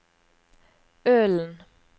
Ølen